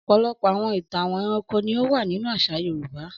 Ọ̀pọ̀lọpọ̀ àwọn ìtàn ẹranko ni ó wà nínú àṣà Yorùbá.